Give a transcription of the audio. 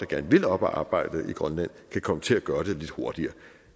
gerne vil op at arbejde i grønland kan komme til at gøre det lidt hurtigere